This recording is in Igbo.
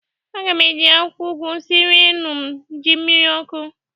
Aga m eji akwụkwọ ụgwụ siere ụmụ m ji mmiri ọkụ.